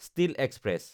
steel express